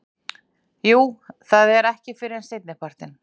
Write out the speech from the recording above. Jú en það er ekki fyrr en seinnipartinn.